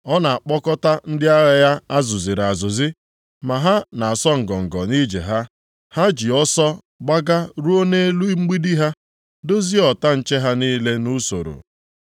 Ọ na-akpọkọta ndị agha ya a zụziri azụzi, ma ha na-asọ ngọngọ nʼije ha. Ha ji ọsọ gbaga ruo nʼelu mgbidi ha, dozie ọta nche ha niile nʼusoro.